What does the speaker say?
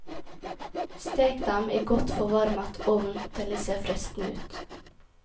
Stek dem i godt forvarmet ovn til de ser fristende ut.